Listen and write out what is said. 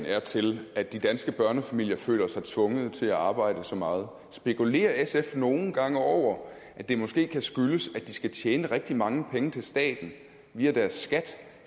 er til at de danske børnefamilier føler sig tvunget til at arbejde så meget spekulerer sf nogle gange over at det måske kan skyldes at de skal tjene rigtig mange penge til staten via deres skat